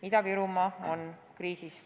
Ida-Virumaa on kriisis.